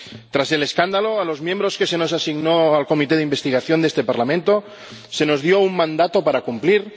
Tras el escándalo, a los miembros a quienes se nos asignó a la comisión de investigación de este Parlamento se nos dio un mandato que cumplir.